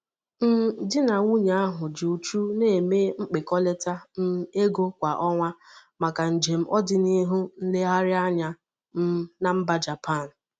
um Di na nwunye ahụ ji uchu na-eme akpịkọlata um ego kwa ọnwa maka njem ọdịnihu nlegharị anya um na mba Japan.